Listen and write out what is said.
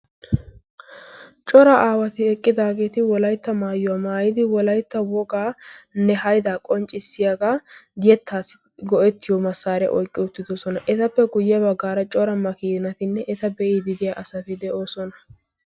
cora aawati eqqidaageeti eqqidi wolaytta wogaa maayuwa maayidi eqqidaageeti beetoosona. etappe guye bagaara eta be'iidi diya asati de'oosona.